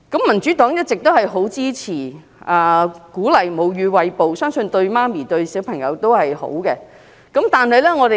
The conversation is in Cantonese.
民主黨一直很支持、鼓勵餵哺母乳，相信對母親和嬰兒也是好的。